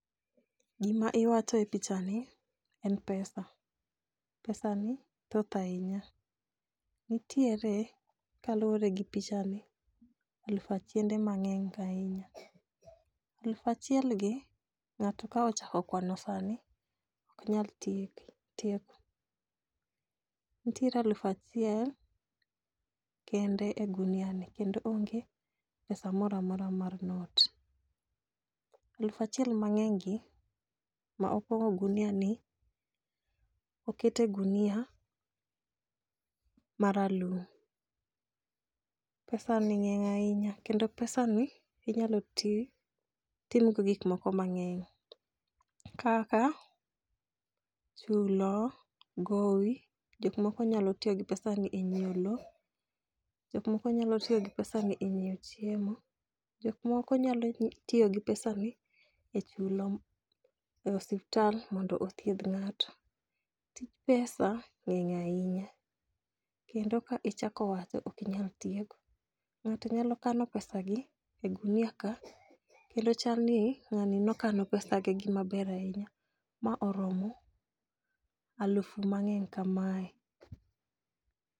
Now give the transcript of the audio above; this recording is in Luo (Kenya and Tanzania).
Gima iwacho e pichani en pesa. Pesani thoth ahinya, nitiere kalure gi pichani, aluf achiende mang'eny ahinya. Aluf achielgi, ng'ato ka ochako kwano sani, ok nyal tieko. Nitiere aluf achiel, kende e guniani, kendo onge pesa mora mora mar not. Aluf achiel mang'enygi ma opong'o guniani, okete gunia maralum, pesani ng'eny ahinya kendo pesani inyalo timgo gikmoko mang'eny kaka chulo gowi, jokmoko nyalo tiyo gi pesani e nyiewo lowo. Jok moko nyalo tiyo gi pesani e nyiewo chiemo, jok moko nyalo tiyo gi pesani e chulo osuptal mondo othiedh ng'ato. Tij pesa ng'eny ahinya kendo ka ichako wache, ok inyal tieko. Ng'ato nyalo kano pesagi e gunia ka, kendo chalni ng'ani nokano pesagi gi maber ahinya ma oromo aluf mang'eny kamae.